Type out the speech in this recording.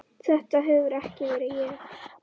Þetta hefur ekki verið ég?